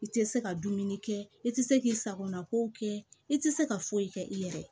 I tɛ se ka dumuni kɛ i tɛ se k'i sagona ko kɛ i tɛ se ka foyi kɛ i yɛrɛ ye